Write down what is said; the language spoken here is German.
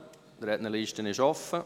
Die Rednerliste ist offen.